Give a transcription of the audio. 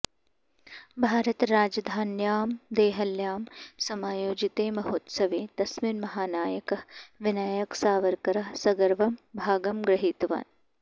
भारतराजधान्यां देहल्यां समायोजिते महोत्सवे तस्मिन् महानायकः विनायकसावरकरः सगर्वं भागं गृहीतवान्